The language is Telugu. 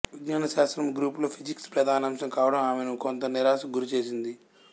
విజ్ఞాన శాస్త్రము గ్రూప్ లో ఫిజిక్స్ ప్రధానాంశం కావడం ఆమెను కొంత నిరాశకు గురిచేసింది